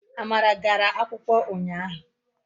Amara gara akwukwo unyahu